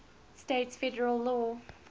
states federal law